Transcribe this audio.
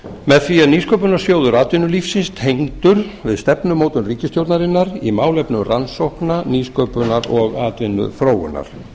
með því er nýsköpunarsjóður atvinnulífsins tengdur við stefnumótun ríkisstjórnarinnar í málefnum rannsókna nýsköpunar og atvinnuþróunar